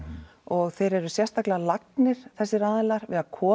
og þeir eru sérstaklega lagnir þessir aðilar við að koma